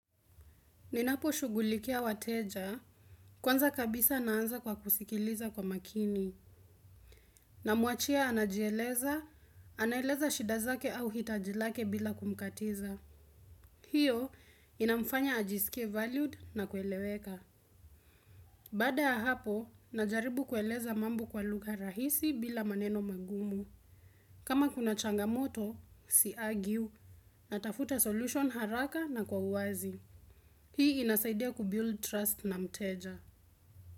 Ninapo shugulikia wateja, kwanza kabisa naanza kwa kusikiliza kwa makini. Na muachia anajieleza, anaeleza shidazake au hitajilake bila kumkatiza. Hiyo, inamfanya ajisikie valued na kueleweka. Bada hapo, najaribu kueleza mambu kwa luga rahisi bila maneno magumu. Kama kuna changamoto, si agiu na tafuta solution haraka na kwa uwazi. Hii inasaidia kubiul trust na mteja.